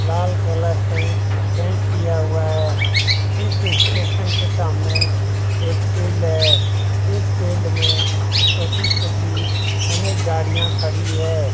लाल colour से paint किया हुआ हैं इस स्टेशन के सामने एक फील्ड हैं । इस फील्ड में छोटी-छोटी अनेक गाड़ियाँ खडी हैं।